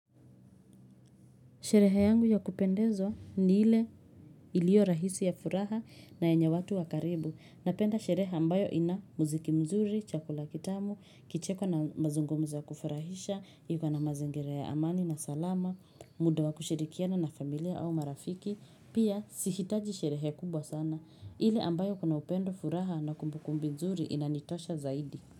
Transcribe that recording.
Sherehe yangu ya kupendezwa ni ile iliyo rahisi ya furaha na yenye watu wa karibu. Napenda sherehe ambayo ina muziki mzuri, chakula kitamu, kicheko na mazungumzo wa kufurahisha, iko na mazingira ya amani na salama, muda wa kushirikiana na familia au marafiki. Pia, sihitaji sherehe kubwa sana. Ile ambayo kuna upendo furaha na kumbukumbu mzuri inanitosha zaidi.